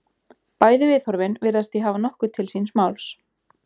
Bæði viðhorfin virðast því hafa nokkuð til síns máls.